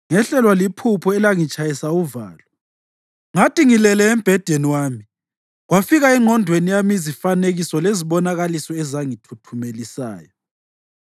Ngehlelwa liphupho elangitshayisa uvalo. Ngathi ngilele embhedeni wami kwafika engqondweni yami izifanekiso lezibonakaliso ezangithuthumelisayo.